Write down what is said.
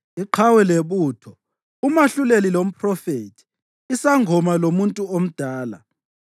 iqhawe lebutho, umahluleli lomphrofethi, isangoma lomuntu omdala,